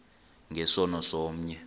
nge sono somnye